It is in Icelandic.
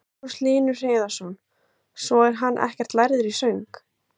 Magnús Hlynur Hreiðarsson: Svo er hann ekkert lærður í söng?